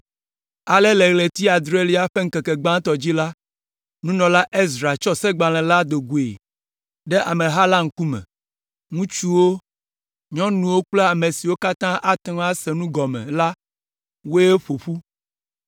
Ale le ɣleti adrelia ƒe ŋkeke gbãtɔ dzi la, nunɔla Ezra tsɔ Segbalẽ la do goe ɖe ameha la ŋkume, ŋutsuwo, nyɔnuwo kple ame siwo katã ate ŋu ase nu gɔme la woe ƒo ƒu.